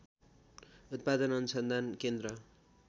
उत्‍पादन अनुसन्धान केन्द्र